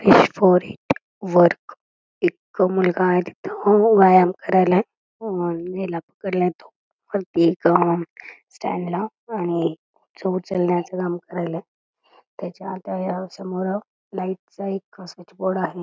एक मुलगा आहे तिथ व्यायाम करायलाय हेला पकडलय तो वरती एक स्टँड ला आणि ओझं उचलण्याचं काम करायलाय त्याच्या आता समोर लाइट चा एक स्विच बोर्ड आहे.